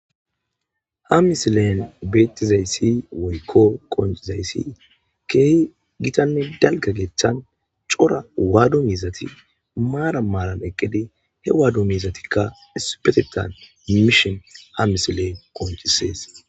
Ha missilen bettzaays woykko qoncezays kehhi giththanne dalgga keeththan corra waddo mizzatti maran maran eqqidi he waddo mizatkka issippetethan mishshe ha missile qoncisess.